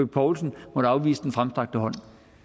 poulsen måtte afvise den fremstrakte hånd